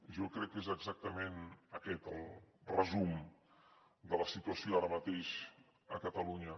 jo crec que és exactament aquest el resum de la situació ara mateix a catalunya